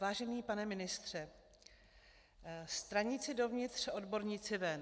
Vážený pane ministře, straníci dovnitř, odborníci ven.